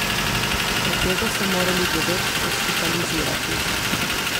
Od tega so morali devet hospitalizirati.